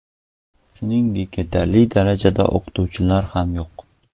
Shuningdek, yetarli darajada o‘qituvchilar ham yo‘q.